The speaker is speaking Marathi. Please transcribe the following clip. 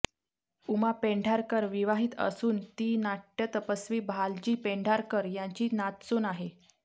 उमा पेंढारकर विवाहित असून ती नाट्यतपस्वी भालजी पेंढारकर यांची नातसून आहे